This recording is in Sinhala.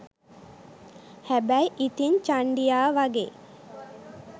හැබැයි ඉතින් චන්ඩියා වගේ